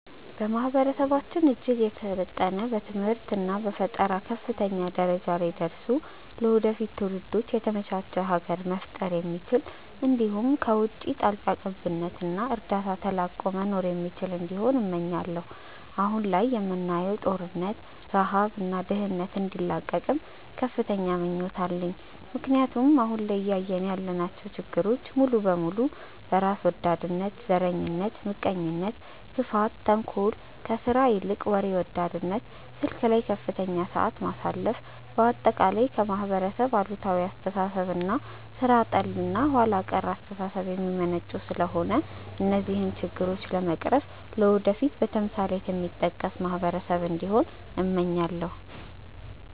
ማህበረሰባችን እጅግ የሰለጠነ በትምህርት እና በፈጠራ ከፍተኛ ደረጃ ላይ ደርሶ ለወደፊት ትውልዶች የተመቻች ሀገር መፍጠር የሚችል እንዲሁም ከውቺ ጣልቃ ገብነት እና እርዳታ ተላቆ መኖር የሚችል እንዲሆን እመኛለው። አሁን ላይ የምናየውን ጦርነት፣ ረሃብ እና ድህነት እንዲላቀቅም ከፍተኛ ምኞት አለኝ ምክንያቱም አሁን ላይ እያየን ያለናቸው ችግሮች ሙሉ በሙሉ በራስ ወዳድነት፣ ዘረኝነት፣ ምቀኝነት፣ ክፋት፣ ተንኮል፣ ከስራ ይልቅ ወሬ ወዳድነት፣ ስልክ ላይ ከፍተኛ ሰዓት ማሳለፍ፣ በአጠቃላይ ከማህበረሰብ አሉታዊ አስተሳሰብ እና ሥራ ጠል እና ኋላ ቀር አስተሳሰብ የሚመነጩ ስለሆነ እነዚህን ችግሮች በመቅረፍ ለወደፊት በተምሳሌትነት የሚጠቀስ ማህበረሰብ እንዲሆን እመኛለው።